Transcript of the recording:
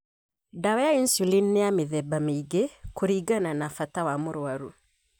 Ndawa ya insulini nĩyamĩthemba mĩingĩ kũringana na bata wa mũrwaru.